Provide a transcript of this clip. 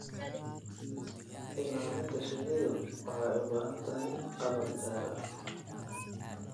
Ilaalinta shinnidu waxay u baahan tahay qalab gaar ah.